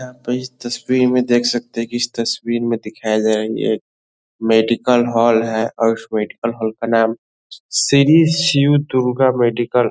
यहाँ पर इस तस्वीर में देख सकते हैं कि इस तस्वीर में दिखाया गया ये एक मेडिकल हॉल है और उस मेडिकल हॉल का नाम श्री शिव दुर्गा मेडिकल --